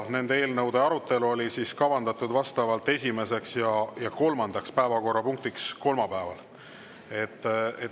Nende eelnõude arutelu oli kavandatud kolmapäeval esimeseks ja kolmandaks päevakorrapunktiks.